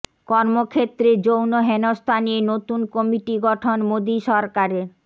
কর্মক্ষেত্রে যৌন হেনস্থা নিয়ে নতুন কমিটি গঠন মোদি সরকারের